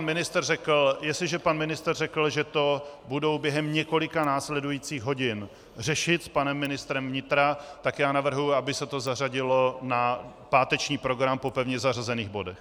Dobře, tak jestliže pan ministr řekl, že to budou během několika následujících hodin řešit s panem ministrem vnitra, tak já navrhuji, aby se to zařadilo na páteční program po pevně zařazených bodech.